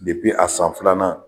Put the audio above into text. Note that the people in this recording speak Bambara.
a san filanan